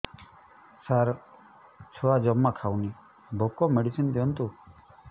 ସାର ଛୁଆ ଜମା ଖାଉନି ଭୋକ ମେଡିସିନ ଦିଅନ୍ତୁ